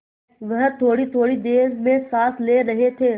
वह थोड़ीथोड़ी देर में साँस ले रहे थे